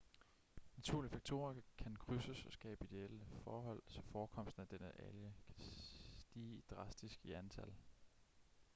naturlige faktorer kan krydses og skabe ideelle forhold så forekomsten af denne alge kan stige drastisk i antal